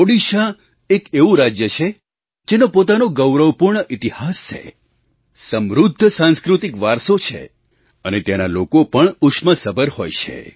ઓડિશા એક એવું રાજ્ય છે જેનો પોતાનો ગૌરવપૂર્ણ ઇતિહાસ છે સમૃદ્ધ સાંસ્કૃતિક વારસો છે અને ત્યાંના લોકો પણ ઉષ્માસભર હોય છે